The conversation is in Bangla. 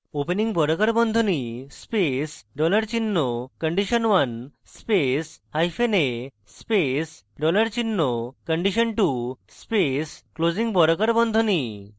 opening বর্গাকার বন্ধনী space dollar চিহ্ন condition1 space hyphen a space dollar চিহ্ন condition2 space closing বর্গাকার বন্ধনী